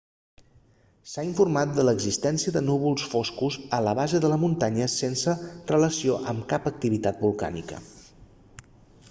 s'ha informat de l'existència de núvols foscos a la base de la muntanya sense relació amb cap activitat volcànica